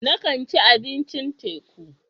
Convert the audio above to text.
Na kan ci abincin teku.